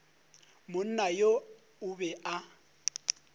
monna yo o be a